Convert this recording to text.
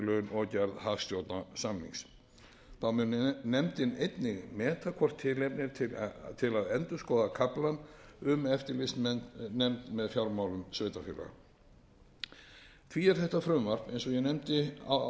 gerð hagstjórnarsamnings nefndin mun einnig meta hvort tilefni er til að endurskoða kaflann um eftirlitsnefnd með fjármálum sveitarfélaga því er þetta frumvarp eins og ég nefndi áðan hæstvirtur